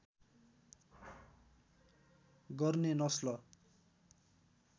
गर्ने नस्ल